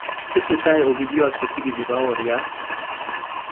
tesetai ogilyot kochigili baoryat